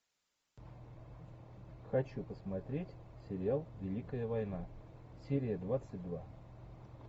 хочу посмотреть сериал великая война серия двадцать два